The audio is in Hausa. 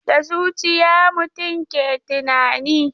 Da zuciya mutum ke tunani.